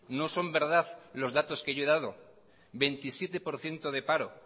no son verdad los datos que yo he dado veintisiete por ciento de paro